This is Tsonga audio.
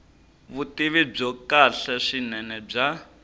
vutivi byo kahle swinene bya